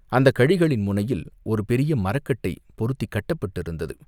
அந்தக் கழிகளின் முனையில் ஒரு பெரிய மரக்கட்டை பொருத்திக் கட்டப்பட்டிருந்தது.